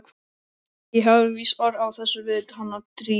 Ég hafði víst orð á þessu við hana Drífu.